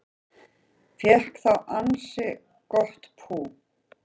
Fékk þá ansi gott pú